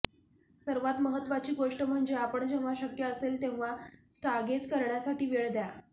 सर्वात महत्त्वाची गोष्ट म्हणजे आपण जेव्हा शक्य असेल तेव्हा स्टागेझ करण्यासाठी वेळ द्या